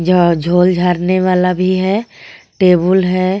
यह जोल जारने वाला भी है टेबुल है.